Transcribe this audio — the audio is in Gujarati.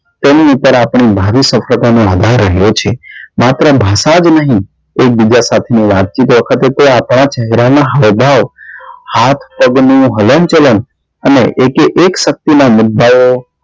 તેની ઉપર આપડે ભાવી સફળતા નો આધાર રહે છે માત્ર ભાષા જ નહી એક બીજા સાથ ની વાત ચિત વખતે તે આપણા ચહેરા નાં હાવ ભાવ હાથ પગ નું હલન ચલન અને એકે એક શક્તિ નાં મુદ્દા ઓ